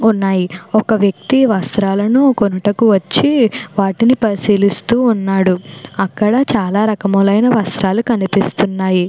ఉన్నాయి. ఒక వ్యక్తి వస్త్రాలను కొనుటకు వచ్చి వాటిని పరిశీలిస్తూ ఉన్నాడు. అక్కడ చాలా రకాల అయినా వస్త్రాలు కనిపిస్తూ ఉన్నాయి.